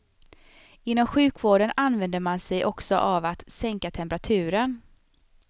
Inom sjukvården använder man sig också av att sänka temperaturen.